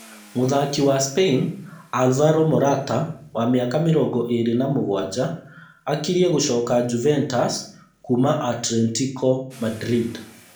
Mũthaki wa spain Alvaro Morata wa mĩaka mĩrongō ĩĩrĩ na mũgwanja akirie gũcoka Juventus kuuma Atlentico Madrid